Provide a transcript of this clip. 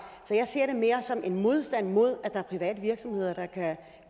jeg ser det mere som en modstand mod at der er private virksomheder der kan